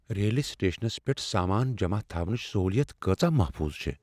ریلہِ سٹیشنس پیٹھ سامان جمع تھاونٕچ سہوٗلیت کۭژاہ محفوظ چھےٚ؟